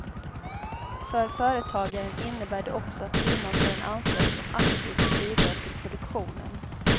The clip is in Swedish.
För företagaren innebär det också att firman får en anställd som aktivt bidrar till produktionen.